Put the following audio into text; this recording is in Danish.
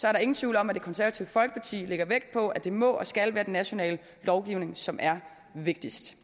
er der ingen tvivl om at det konservative folkeparti lægger vægt på at det må og skal være den nationale lovgivning som er vigtigst